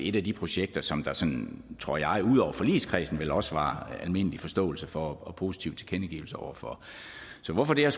et af de projekter som der sådan tror jeg ud over forligskredsen vel også var almindelig forståelse for og positive tilkendegivelser over for så hvorfor det